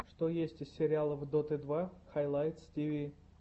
что есть из сериалов доты два хайлайтс тиви